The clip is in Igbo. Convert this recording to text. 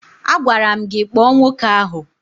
Agwara m gị kpọọ nwoke ahụ!